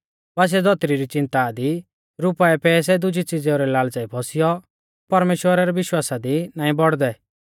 बासिऐ धौतरी री च़िन्ता दी रुपाऐ पैसै दुजी च़ीज़ेउ रै लाल़च़ाई फौसियौ परमेश्‍वरा रै विश्वासा दी नाईं बौड़दै